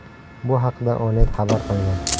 Bu haqda Onet xabar qilgan .